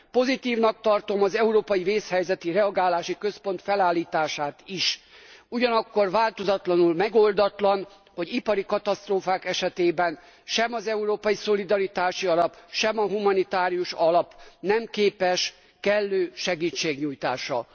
Pozitívnak tartom az Európai vészhelyzet reagálási Központ felállítását is, ugyanakkor változatlanul megoldatlan, hogy ipari katasztrófák esetében sem az Európai Szolidaritási Alap, sem a humanitárius alap nem képes kellő segítségnyújtásra.